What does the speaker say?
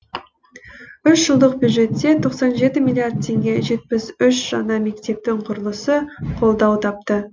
үш жылдық бюджетте тоқсан жеті миллиард теңге жетпіс үш жаңа мектептің құрылысы қолдау тапты